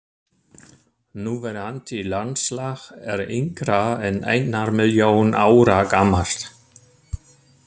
Núverandi landslag er yngra en einnar milljón ára gamalt.